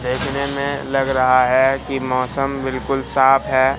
देखने में लग रहा है कि मौसम बिल्कुल साफ है।